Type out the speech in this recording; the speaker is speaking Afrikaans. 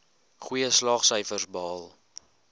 goeie slaagsyfers behaal